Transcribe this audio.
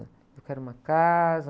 Eu quero uma casa.